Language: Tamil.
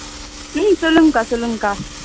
உம் சொல்லுங்கக்கா சொல்லுங்கக்கா